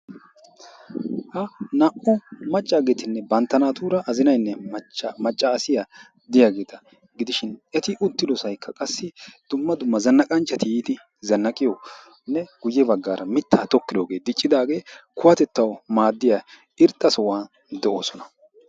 Ha naa"u maccaageetinne bantta naatuura azinaynne maccaasiya diyageeta gidishin eti uttido sohoykka qassi dumma dumma zannaqanchchati yiidi zannaqiyonne guyye baggaara mittaa tokkidoogee diccidaage kuwatettawu maaddiya irxxa sohuwan de"oosona.